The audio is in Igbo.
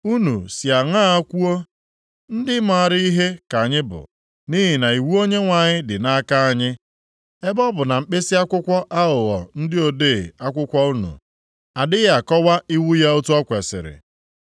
“ ‘Unu si aṅaa kwuo, “Ndị maara ihe ka anyị bụ, nʼihi na iwu Onyenwe anyị dị nʼaka anyị,” ebe ọ bụ na mkpisi akwụkwọ aghụghọ ndị ode akwụkwọ unu adịghị akọwa iwu ya otu o kwesiri?